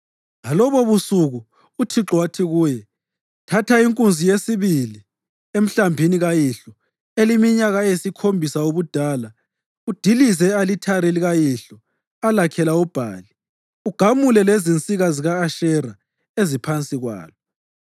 Ngalobobusuku uThixo wathi kuye, “Thatha inkunzi yesibili emhlambini kayihlo, eleminyaka eyisikhombisa ubudala. Udilize i-alithari likayihlo alakhela uBhali, ugamule lezinsika zika-Ashera eziphansi kwalo.